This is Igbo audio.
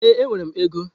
Ee, enwere m ego.